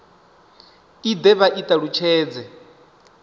i de vha i talutshedze